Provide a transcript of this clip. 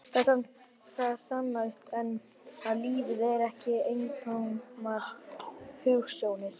Það sannast enn að lífið er ekki eintómar hugsjónir.